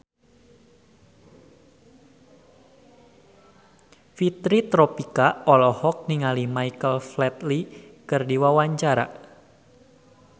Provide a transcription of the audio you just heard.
Fitri Tropika olohok ningali Michael Flatley keur diwawancara